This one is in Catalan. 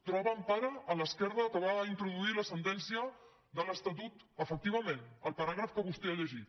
troba empara a l’esquerda que va introduir la sentència de l’estatut efectivament el paràgraf que vostè ha llegit